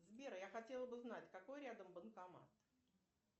сбер я хотела бы знать какой рядом банкомат